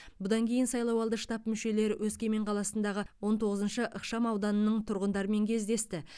бұдан кейін сайлауалды штаб мүшелері өскемен қаласындағы он тоғызыншы ықшамауданның тұрғындарымен кездесті